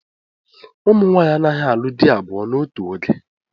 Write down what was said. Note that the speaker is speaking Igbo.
Ụmụ nwaanyị anaghị alụ di abụọ n'otù oge.